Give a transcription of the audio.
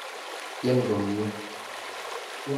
Tyen komnye.